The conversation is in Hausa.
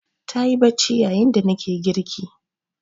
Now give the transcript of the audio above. Ta yi bacci yayin da nake girki.